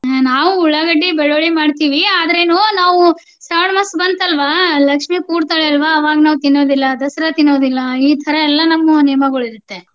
ಹ್ಮ ನಾವು ಉಳ್ಳಾಗಡ್ಡಿ, ಬೆಳ್ಳುಳ್ಳಿ ಮಾಡ್ತೀವಿ ಆದ್ರ ಏನು ನಾವು ಶ್ರಾವಣ ಮಾಸ ಬಂತಲ್ವಾ ಲಕ್ಷ್ಮೀ ಕೂಡತಾಳಲ್ವಾ ಅವಾಗ ನಾವ ತಿನ್ನೋದಿಲ್ಲಾ, Dasara ತಿನ್ನೋದಿಲ್ಲಾಈತರಾ ಎಲ್ಲ ನಮ್ಮ ನಿಯಮಾಗೊಳಿರುತ್ತೆ.